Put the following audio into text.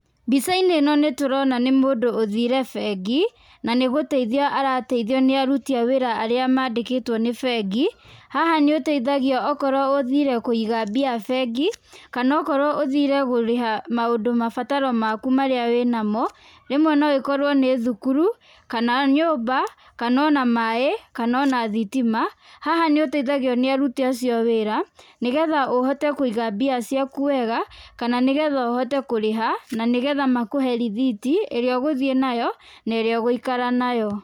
Mbica-inĩ ĩno nĩ tũrona nĩ mũndũ ũthiire bengi, na nĩ gũteithio arateithio nĩ aruti a wĩra arĩa mandĩkĩtwo nĩ bengi, haha nĩ ũteithagio okorwo ũthiire kũiga mbia bengi, kana okorwo ũthiire gũrĩha maũndũ mabataro maku marĩa wĩ namo, rĩmwe no ĩkorwo nĩ thukuru, kana nyũmba kana ona maĩ kana ona thitima. Haha nĩ ũteithagio nĩ aruti acio a wĩra, nĩ getha ũhote kũiga mbia ciaku wega, kana nĩ getha ũhote kũrĩha na nĩ getha makũhe rithiti ĩrĩa ũgũthiĩ nayo na ĩrĩa ũgũikara nayo.